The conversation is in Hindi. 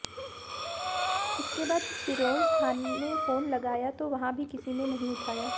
इसके बाद सिरोंज थाने फोन लगाया तो वहां भी किसी ने नहीं उठाया